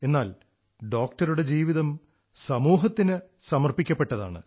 എന്നാൽ ഡോക്ടറുടെ ജീവിതം സമൂഹത്തിന് സമർപ്പിക്കപ്പെട്ടതാണ്